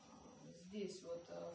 здесь вот так